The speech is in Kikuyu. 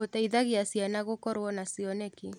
Gũteithagia ciana gũkorwo na cioneki.